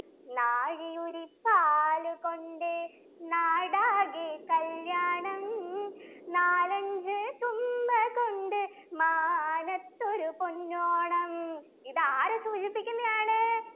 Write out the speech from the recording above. നാഴിയുരിപ്പാലുകൊണ്ട് നാടാകെക്കല്ല്യാണം നാലഞ്ചു തുമ്പകൊണ്ട് മാനത്തൊരു പൊന്നോണം ഇത് ആരെ സൂചിപ്പിക്കുന്നയാണ്